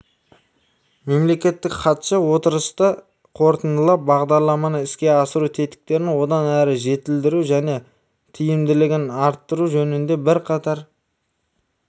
мемлекеттік хатшы отырысты қорытындылап бағдарламаны іске асыру тетіктерін одан әрі жетілдіру және тиімділігін арттыру жөнінде бірқатар